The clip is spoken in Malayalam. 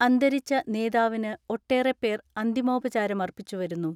അന്തരിച്ച നേതാവിന് ഒട്ടേറെപേർ അന്തിമോപ ചാരമർപ്പിച്ചു വരുന്നു.